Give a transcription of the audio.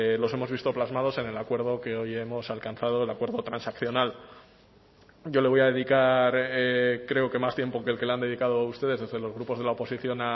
los hemos visto plasmados en el acuerdo que hoy hemos alcanzado el acuerdo transaccional yo le voy a dedicar creo que más tiempo que el que le han dedicado ustedes desde los grupos de la oposición